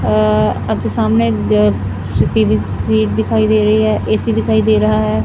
ਅ ਅੱਜ ਸਾਹਮਣੇ ਬ ਕਿਸੇ ਦੀ ਤਸਵੀਰ ਦਿਖਾਈ ਦੇ ਰਹੀ ਹੈ ਏ_ਸੀ ਦਿਖਾਈ ਦੇ ਰਹਾ ਹੈ।